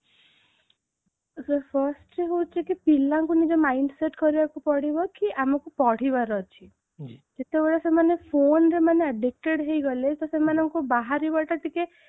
sir firstରେ ହେଉଛି କି ପିଲାଙ୍କୁ ନିଜର mindset କରିବାକୁ ପଡିବ କି ଆମକୁ ପଢିବାର ଅଛି ଯେତେବେଳେ ସେମାନେ phoneରେ ମାନେ ବେକାର ହେଇଗଲେ ତ ସେମାନଙ୍କୁ ବାହାରିବାଟା ଟିକେ